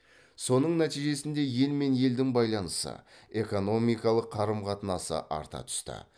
соның нәтижесінде ел мен елдің байланысы экономикалық қарым қатынасы арта түсті